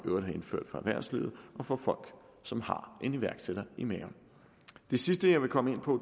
øvrigt har indført for erhvervslivet og for folk som har en iværksætter i maven det sidste jeg vil komme ind på